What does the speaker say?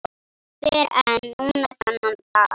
Fyrr en núna þennan dag.